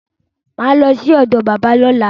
Mà á lọ sí ọ̀do bábá lọ́la.